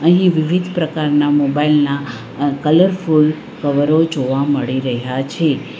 અહીં વિવિધ પ્રકારના મોબાઇલ ના કલરફુલ કવરો જોવા મળી રહ્યા છે.